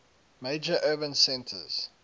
major urban centers